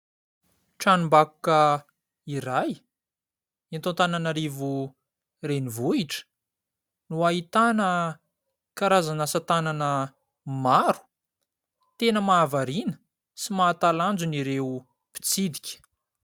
Tranom-bakoka iray eto Antananarivo renivohitra no ahitana karazana asatanana maro tena mahavariana sy mahatalanjona ireo mpitsidika.